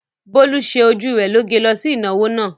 Bólú ṣe ojú rẹ lóge lọ sí ìnáwó náà.